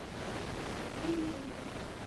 сергей веригин